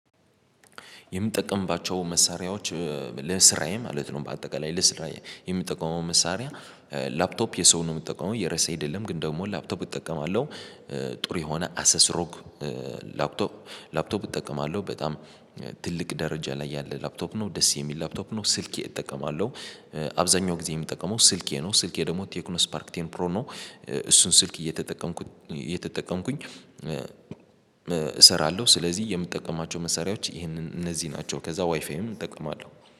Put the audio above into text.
የምጠቀምባቸው መሳሪያዎች ለስራዬ ማለት ነው። በአጠቃላይ ለስራዬ የምጠቀመው መሳሪያ ላፕቶፕ የሰውን ነው የምትጠቀመው የረሴ አይደለም ግን ደግሞ ላፕቶፕ እጠቀማለሁ። ጥሩ የሆነ አሰስሮክ ላፕቶፕ ላፕቶፕ እጠቀማለሁ በጣም ትልቅ ደረጃ ላይ ያለ ላፕቶፕ ነው ደስ የሚል ላፕቶፕ ነው። ስልኬ እጠቀማለሁ። አብዛኛው ጊዜ የምጠቀመው ስልኬ ነው ስልኬ ደግሞ ቴክኖ ስፓርክ ቴን ፕሮ ነው። እሱን ስልክ እየተጠቀምኩኝ እሰራለሁ። ስለዚህ የምጠቀማቸው መሳሪያዎች ይሄንን እነዚህ ናቸው። ከዛ ዋይፋዬም እጠቀማለሁ